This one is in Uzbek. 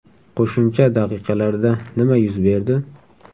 Qo‘shimcha daqiqalarda nima yuz berdi?